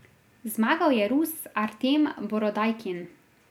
Zmagal je Rus Artem Borodajkin.